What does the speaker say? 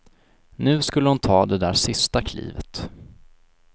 Nu skulle hon ta det där sista klivet.